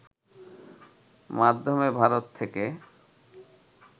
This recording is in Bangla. মাধ্যমে ভারত থেকে